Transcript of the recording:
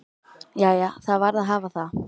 Jæja, það varð að hafa það.